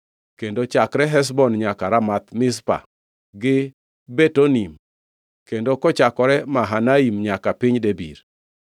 kendo chakre Heshbon nyaka Ramath Mizpa gi Betonim, kendo kochakore Mahanaim nyaka piny Debir;